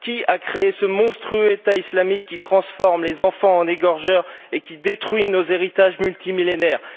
Qui a créé ce monstrueux État islamique qui transforme les enfants en égorgeurs et détruit nos héritages multimillénaires?